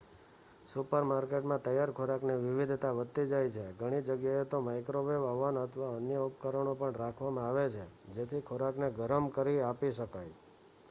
સુપરમાર્કેટમાં તૈયાર ખોરાકની વિવિધતા વધતી જાય છે ઘણી જગ્યાએ તો માઈક્રોવેવ અવન અથવા અન્ય ઉપકરણો પણ રાખવામાં આવે છે જેથી ખોરાકને ગરમ કરી આપી શકાય